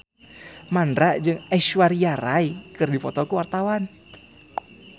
Mandra jeung Aishwarya Rai keur dipoto ku wartawan